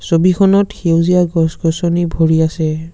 ছবিখনত সেউজীয়া গছ-গছনি ভৰি আছে।